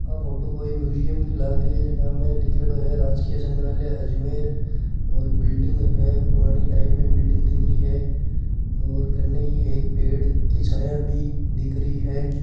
आ photo कोई museum की लाग रही है जका में लिख्योड़ो है राजकिय संग्रहालय अजमेर और बिल्डिंग है पुराणी टाईप में बिल्डिंग दिख रही है और कने ही एक पेड़ की छाया भी दिख रही है।